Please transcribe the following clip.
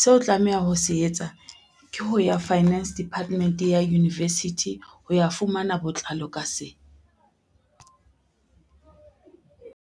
seo o tlameha ho se etsa ke ho ya finance department ya university ho ya fumana botlalo ka se.